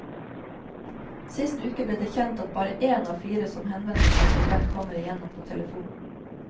Sist uke ble det kjent at bare én av fire som henvender seg til dem, kommer igjennom på telefon.